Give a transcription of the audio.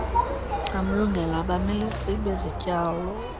wamlungelo abamilisi bezityalo